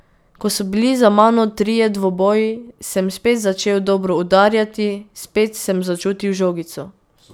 Ko so bili za mano trije dvoboji, sem spet začel dobro udarjati, spet sem začutil žogico.